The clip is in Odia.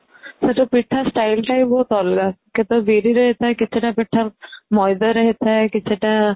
ହଁ ପୁଟା styleଟା ବି ବହୁତ ଅଲଗା କେତେଟା ବିରିରେ ଥାଏ କେତେଟା ପିଠା ମଇଦାରେ ହେଇଥାଏ କିଛି ଟା